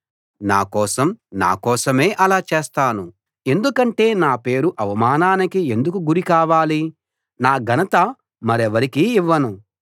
నా కోసం నా కోసమే ఆలా చేస్తాను ఎందుకంటే నా పేరు అవమానానికి ఎందుకు గురి కావాలి నా ఘనత మరెవరికీ ఇవ్వను